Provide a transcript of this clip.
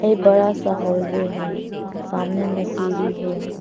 ये बड़ा सा हाल वे है सामने में सीढ़ी है।